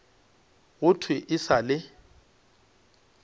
go thwe e sa le